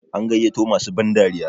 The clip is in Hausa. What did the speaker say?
an gaiyato masu bandariyar?